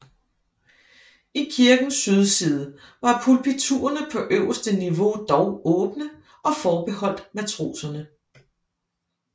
I kirkens sydside var pulpiturerne på øverste niveau dog åbne og forbeholdt matroserne